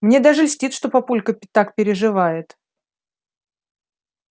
мне даже льстит что папулька так переживает